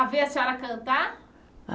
A ver a senhora cantar?